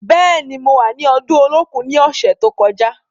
Bẹ́ẹ̀ni, mo wà ni ọdún Olókun ní ọ̀sẹ̀ tó kọjá.